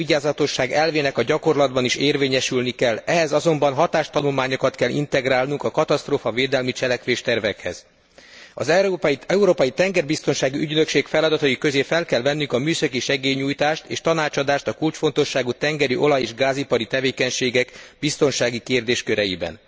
Az elővigyázatosság elvének a gyakorlatban is érvényesülni kell, ehhez azonban hatástanulmányokat kell integrálnunk a katasztrófavédelmi cselekvéstervekhez. Az Európai Tengerbiztonsági Ügynökség feladatai közé fel kell vennünk a műszaki segélynyújtást és tanácsadást a kulcsfontosságú tengeri olaj és gázipari tevékenységek biztonsági kérdésköreiben.